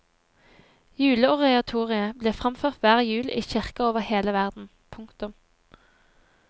Juleoratoriet blir framført hver jul i kirker over hele verden. punktum